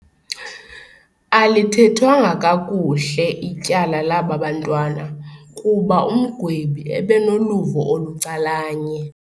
Alithethwanga kakuhle ityala laba bantwana kuba umgwebi ebenoluvo olucalanye.